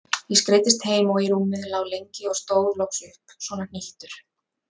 Ég skreiddist heim og í rúmið, lá lengi og stóð loks upp svona hnýttur.